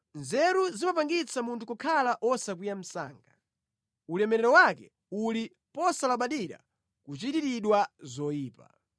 Nzeru zimapangitsa munthu kukhala wosakwiya msanga; ulemerero wake uli posalabadira kuchitiridwa zoyipa.